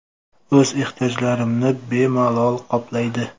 O‘z ehtiyojlarimni bemalol qoplaydi.